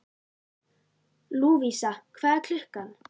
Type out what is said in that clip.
Lúvísa, hvað er klukkan?